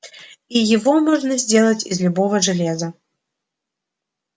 и его можно сделать из любого железа